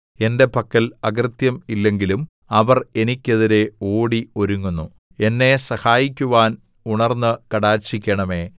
എന്റെ പക്കൽ അകൃത്യം ഇല്ലെങ്കിലും അവർ എനിക്കെതിരെ ഓടി ഒരുങ്ങുന്നു എന്നെ സഹായിക്കുവാൻ ഉണർന്ന് കടാക്ഷിക്കണമേ